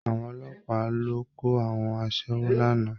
Àwọn ọlọ́pàá lọ kó àwọn aṣẹ́wó lánàá